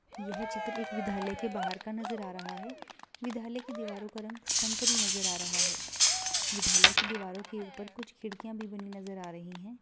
यहाँ चित्र एक विधालय के बाहर का नजर आ रहा हैं विधालय का दीवारों का रंग संतरी नजर आ रहा हैं विद्यालय के दीवालो के ऊपर कुछ खिड़की नज़र आ रही हैं ।